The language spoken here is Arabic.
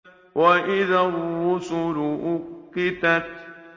وَإِذَا الرُّسُلُ أُقِّتَتْ